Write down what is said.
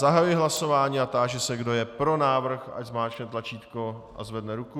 Zahajuji hlasování a táži se, kdo je pro návrh, ať zmáčkne tlačítko a zvedne ruku.